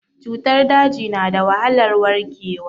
Cutar daji na da wahalar warkewa.